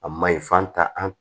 A ma ɲi f'an ta an